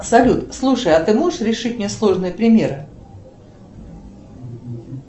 салют слушай а ты можешь решить мне сложные примеры